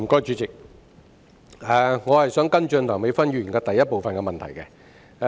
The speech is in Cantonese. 主席，我想跟進梁美芬議員主體質詢的第一部分。